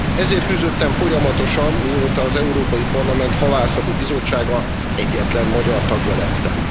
Ezért küzdöttem folyamatosan, mióta az Európai Parlament Halászati Bizottsága egyetlen magyar tagja lettem.